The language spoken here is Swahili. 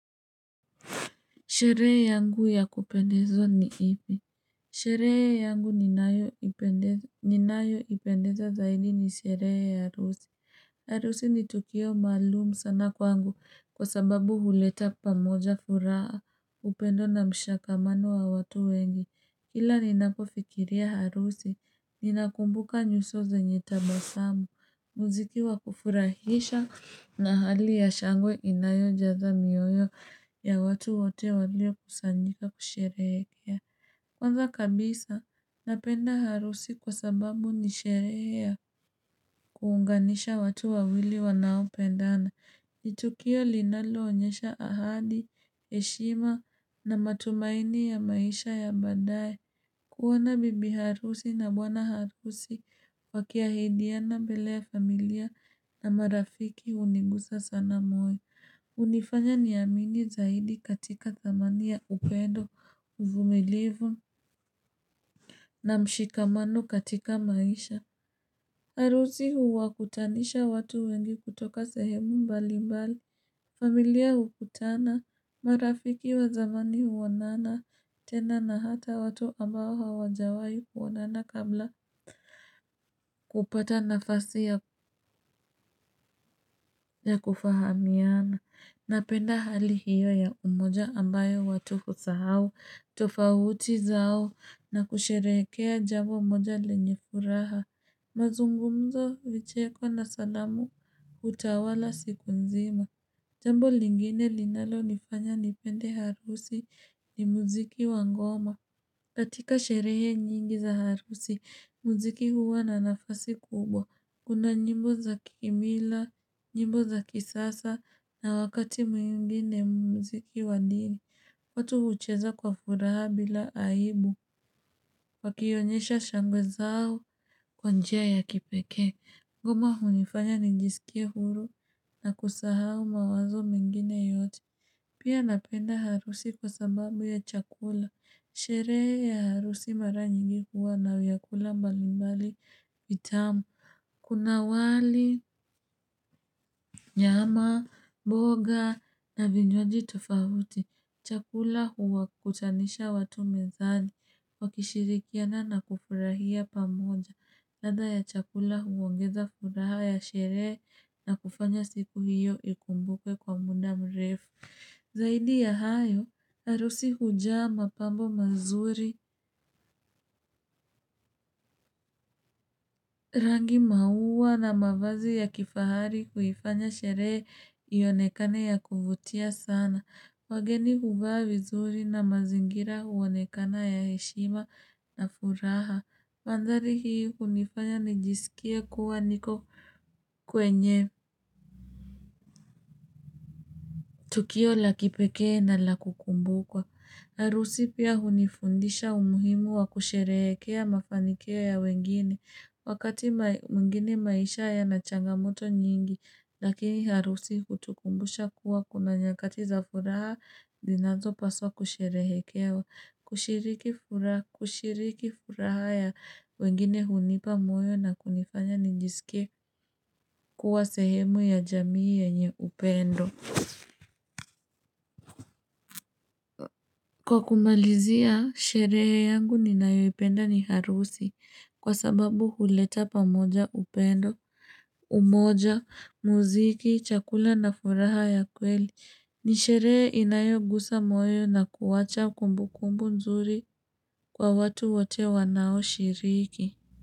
Sherehe yangu ya kupendeza ni hii Sherehe yangu ninayo ipendeza zaidi ni sherehe ya harusi. Arusi ni tukio maalum sana kwangu kwa sababu uleta pamoja furaha upendo na mshakamano wa watu wengi. Kila ninapofikiria harusi, ninakumbuka nyuso zenye tabasamu, mziki wa kufurahisha na hali ya shangwe inayo jaza mioyo ya watu wote waliokusanyika kusherehekea. Kwanza kabisa, napenda harusi kwa sababu nishere ya kuunganisha watu wawili wanaopendana. Ni tukio linalo onyesha ahadi, heshima na matumaini ya maisha ya badaye. Kuona bibi harusi na bwana harusi wakiahidiana mbele ya familia na marafiki unigusa sana moyo. Unifanya niamini zaidi katika dhamani ya upendo, uvumilivu na mshikamano katika maisha. Harusi huwakutanisha watu wengi kutoka sehemu mbali mbali. Familia ukutana, marafiki wa zamani huonana, tena na hata watu ambao hawajawai kuonana kabla kupata nafasi ya kufahamiana. Napenda hali hiyo ya umoja ambayo watu husahau, tofauti zao, na kusherehekea jambo moja lenye furaha. Mazungumzo, vichekwa na salamu, utawala siku nzima. Jambo lingine linalo nifanya nipende harusi ni muziki wa ngoma. Katika sherehe nyingi za harusi, muziki huwa na nafasi kubwa. Kuna nyimbo za kimila, nyimbo za kisasa, na wakati mwingine muziki wa niri. Watu hucheza kwa furaha bila aibu. Wakionyesha shangwe zao kwa njia ya kipekee. Ngoma hunifanya nijisikie huru na kusahau mawazo mengine yote. Pia napenda harusi kwa sababu ya chakula. Sherehe ya harusi mara nyingi huwa na vyakula mbali mbali vitamu. Kuna wali, nyama, mboga na vinywaji tofauti. Chakula uwakutanisha watu mezani. Wakishirikiana na kufurahia pamoja. Ladha ya chakula uongeza furaha ya sherehe na kufanya siku hiyo ikumbukwe kwa muda mrefu. Zaidi ya hayo, arusi hujaa mapambo mazuri, rangi maua na mavazi ya kifahari uhifanya sherehe ionekane ya kuvutia sana. Wageni huvaa vizuri na mazingira huonekana ya heshima na furaha. Mandhari hii hunifanya nijisikie kuwa niko kwenye tukio la kipekee na la kukumbukwa. Harusi pia hunifundisha umuhimu wa kusherehekea mafanikio ya wengine. Wakati mwigine maisha yana changamoto nyingi, lakini harusi hutukumbusha kuwa kuna nyakati za furaha zinazo paswa kusherehekewa. Kushiriki furaha ya wengine hunipa moyo na kunifanya njiskie kuwa sehemu ya jamii yenye upendo Kwa kumalizia, sherehe yangu ninayoipenda ni harusi kwa sababu huleta pamoja upendo, umoja, muziki, chakula na furaha ya kweli ni sheree inayogusa moyo na kuwacha kumbu kumbu nzuri kwa watu wote wanao shiriki.